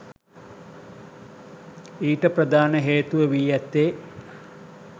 ඊට ප්‍රධාන හේතුව වී ඇත්තේ